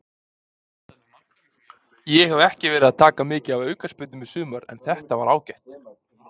Ég hef ekki verið að taka mikið af aukaspyrnum í sumar en þetta var ágætt.